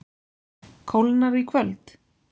Kólnar í kvöld